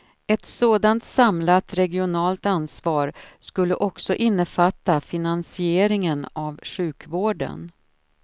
Ett sådant samlat regionalt ansvar skulle också innefatta finansieringen av sjukvården.